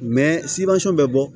bɛ bɔ